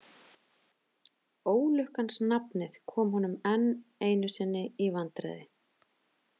Ólukkans nafnið kom honum enn einu sinni í vandræði.